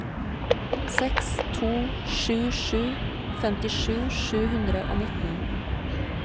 seks to sju sju femtisju sju hundre og nitten